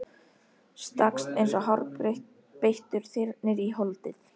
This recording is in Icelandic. Stakkst eins og hárbeittur þyrnir í holdið.